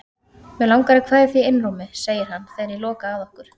Mig langar að kveðja þig í einrúmi, segir hann þegar ég loka að okkur.